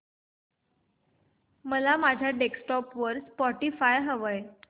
मला माझ्या डेस्कटॉप वर स्पॉटीफाय हवंय